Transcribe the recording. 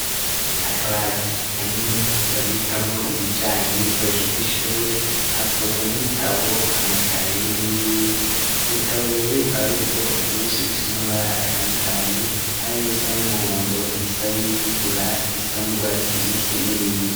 Akabati kanini babikamwo ibijanye n'ibikoresho vy'ishure twoba nk'ibitabo, amakaye n'ibindi. Ivyo bitabo rero bikaba biri ubwoko bwinshi bifise n'amabara atandukanye hari n'ibisa n'umuhondo ibisa n'ibitukura ibisa n'urwatsi rubisi n'ibindi.